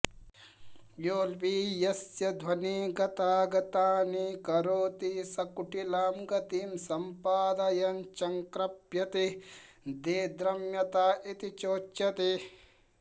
योऽल्पीयस्यध्वनि गतागतानि करोति स कुटिलां गतिं सम्पादयन् चंक्रभ्यते देद्रम्यत इति चोच्यते